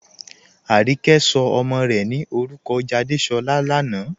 Ànìkẹ̀ sọ̀ ọmọ́ rè ní orúkọ́ Jádésọ̀lá lànà"